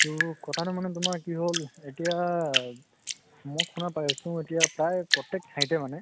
ত কথা টো মানে কি হল এতিয়া মই শুনা পাই আছো এতিয়া প্ৰায় প্ৰত্য়েক ঠাইতে মানে